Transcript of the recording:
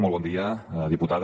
molt bon dia diputada